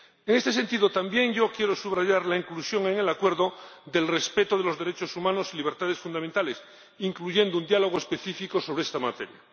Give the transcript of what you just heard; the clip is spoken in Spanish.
En este sentido, también yo quiero subrayar la inclusión en el Acuerdo del respeto de los derechos humanos y libertades fundamentales, recogiendo un diálogo específico sobre esta materia.